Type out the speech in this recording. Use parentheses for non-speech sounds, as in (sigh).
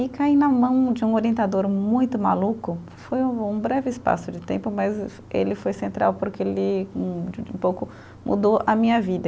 E caí na mão de um orientador muito maluco, foi um breve espaço de tempo, mas ele foi central porque ele (unintelligible) um pouco mudou a minha vida.